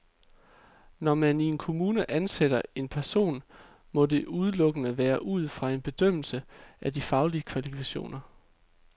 Når man i en kommune ansætter en person, må det udelukkende være ud fra en bedømmelse af de faglige kvalifikationer.